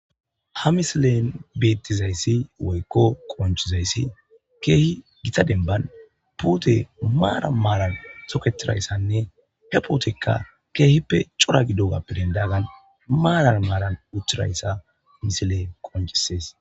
Ha misilen beettizayssi woykko qonccizayssi keehi gita dembban puute maara maaran soketirayssanne he pootekka keehippe cora gidogappe denddoogan maaran maaran uthirayssa misile qoncisees.